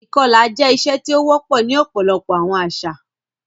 Ìkọla jẹ iṣe ti ó wọpọ ni ọpọlọpọ àwọn àṣà